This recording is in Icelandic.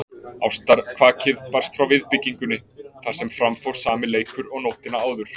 Ástarkvakið barst frá viðbyggingunni þar sem fram fór sami leikur og nóttina áður.